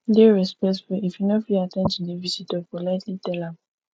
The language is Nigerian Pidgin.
dey respectful if you no fit at ten d to di visitor politely tell am